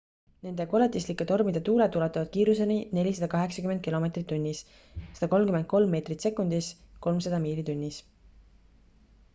nende koletislike tormide tuuled ulatuvad kiiruseni 480 km/h 133 m/s; 300 miili tunnis